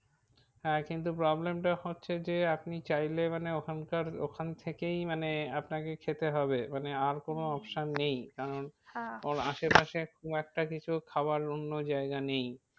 হ্যাঁ কিন্তু problem টা হচ্ছে যে আপনি চাইলে মানে ওখানকার ওখান থেকেই মানে আপনাকে খেতে হবে। মানে আর কোনো option নেই। কারণ কারণ আশে পাশে খুব একটা কিছু খাবার অন্য জায়গা নেই।